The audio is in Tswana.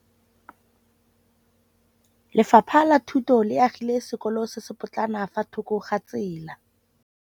Lefapha la Thuto le agile sekôlô se se pôtlana fa thoko ga tsela.